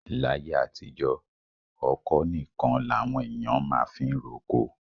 Láyé àtijọ́, ọ̀kọ́ nìkan làwọn èèyàn máa fiń roko.